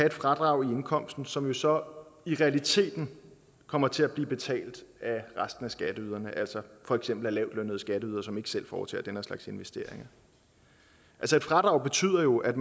et fradrag i indkomsten som jo så i realiteten kommer til at blive betalt af resten af skatteyderne altså for eksempel af lavtlønnede skatteydere som ikke selv foretager den her slags investeringer altså et fradrag betyder jo at